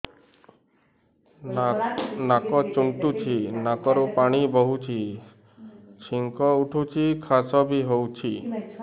ନାକ ଚୁଣ୍ଟୁଚି ନାକରୁ ପାଣି ବହୁଛି ଛିଙ୍କ ହଉଚି ଖାସ ବି ହଉଚି